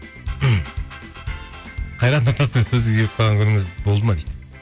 қайрат нұртаспен сөзге келіп қалған күніңіз болды ма дейді